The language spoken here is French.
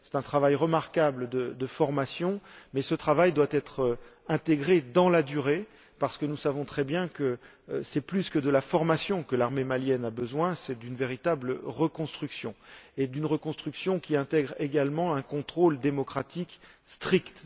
C'est un travail de formation remarquable, mais ce travail doit être intégré dans la durée, parce que nous savons très bien que c'est plus que d'une formation dont l'armée malienne a besoin, c'est d'une véritable reconstruction, et d'une reconstruction qui intègre également un contrôle démocratique strict.